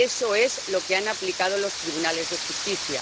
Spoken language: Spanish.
y eso es lo que han aplicado los tribunales de justicia